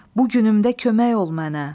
Bu günümdə kömək ol mənə.